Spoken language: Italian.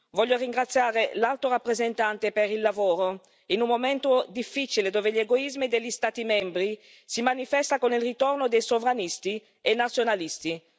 Voglio ringraziare l'Alto rappresentante per il lavoro in un momento difficile, dove gli egoismi degli Stati membri si manifestano con il ritorno dei sovranisti e nazionalisti.